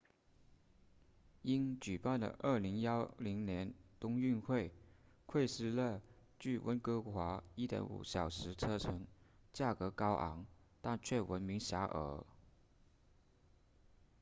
因举办了2010年冬奥会惠斯勒距温哥华 1.5 小时车程价格高昂但却闻名遐迩